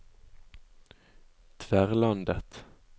Tverlandet